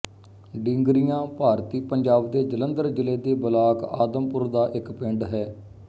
ਡੀਂਗਰੀਆਂ ਭਾਰਤੀ ਪੰਜਾਬ ਦੇ ਜਲੰਧਰ ਜ਼ਿਲ੍ਹੇ ਦੇ ਬਲਾਕ ਆਦਮਪੁਰ ਦਾ ਇੱਕ ਪਿੰਡ ਹੈ